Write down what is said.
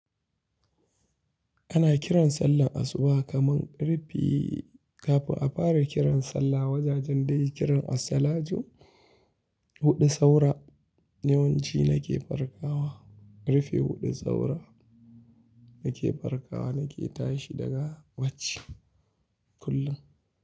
Ana kiran sallar asuba kamar ƙarfe kafin a fara kiran sallah. Wajajen da yayi kiran asalatu huɗu saura yawanci na ke farkawa. Ƙarfe huɗu saura na ke farkawa, na ke tashi daga bacci kullum.